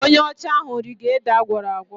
Onye ọcha ahụ rige ede agwọrọ agwọ..